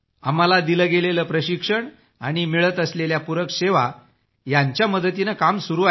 आम्हाला दिलं गेलेलं प्रशिक्षण आणि मिळत असलेल्या पुरक सेवा यांच्या मदतीनं काम सुरू आहे